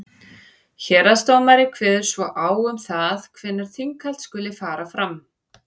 héraðsdómari kveður svo á um það hvenær þinghald skuli fara fram